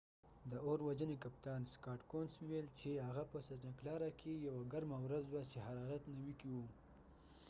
د اور وژنی کپتان سکاټ کونس scott couns وويل چې هغه په سنټا کلارا santa clara کې یوه ګرمه ورڅ وه چې حرارت 90 کې و